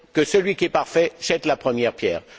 Que celui qui est parfait jette la première pierre!